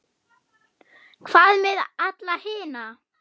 Hvað með alla hina?